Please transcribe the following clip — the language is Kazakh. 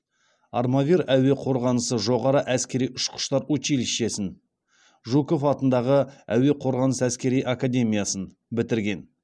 армавир әуе қорғанысы жоғары әскери ұшқыштар училищесін жуков атындағы әуе қорғанысы әскери академиясын бітірген